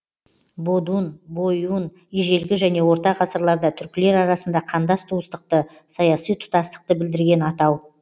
бодун бойун ежелгі және орта ғасырларда түркілер арасында қандас туыстықты саяси тұтастықты білдірген атау